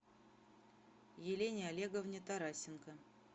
елене олеговне тарасенко